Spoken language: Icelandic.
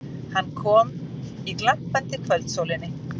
Hann kom í glampandi kvöldsólinni.